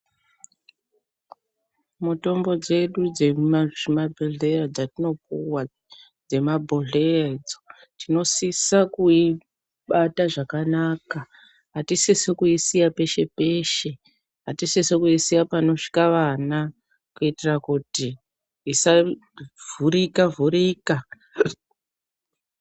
Mutombo dzedu dzemumazvibhodleya dzatinopuwa dzemabhodhleya idzo, tinosisa kuibata zvakanaka. Hatisisi kuisiya peshe peshe. Hatisisi kuisiya panosvika vana kuitira kuti isavhurika vhurika.